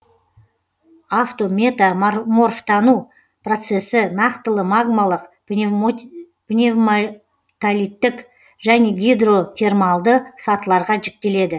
авто мета морфтану процесі нақтылы магмалық пневма толиттік және гидро термалды сатыларға жіктеледі